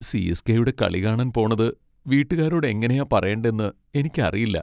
സി.എസ്.കെ.യുടെ കളി കാണാൻ പോണത് വീട്ടുകാരോട് എങ്ങനെയാ പറയണ്ടെന്ന് എനിക്കറിയില്ല.